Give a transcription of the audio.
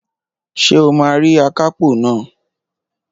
Ṣé o máa rí akápò naa?